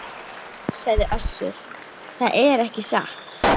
Nei, sagði Össur, það er ekki satt.